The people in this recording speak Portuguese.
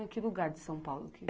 que lugar de São Paulo que...